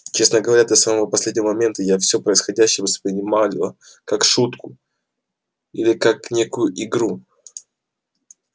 честно говоря до самого последнего момента я всё происходящее воспринимала или как шутку или как некую игру